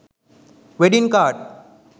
wedding card